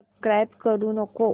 subscribe करू नको